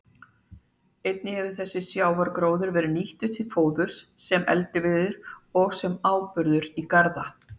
Einnig hefur þessi sjávargróður verið nýttur til fóðurs, sem eldiviður og sem áburður í garða.